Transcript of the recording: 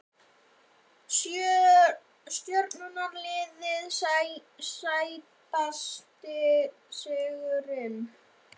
Stjörnuliðið Sætasti sigurinn?